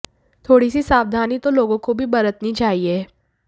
थोड़ी सी सावधानी तो लोगों को भी बरतनी चाहिए